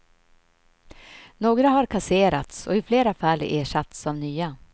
Några har kasserats och i flera fall ersatts av nya.